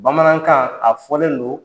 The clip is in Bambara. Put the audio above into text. Bamanankan a fɔlen do.